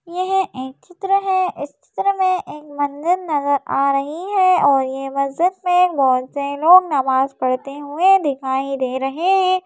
यह एक चित्र है इस चित्र में एक मंदिर नज़र आ रही है और ये मस्जिद में बहुत से लोग नमाज़ पढ़ते हुए दिखाई दे रहे हैं।